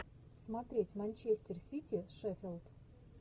смотреть манчестер сити шеффилд